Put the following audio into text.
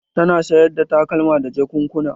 Tana sayar da takalma da jakunna.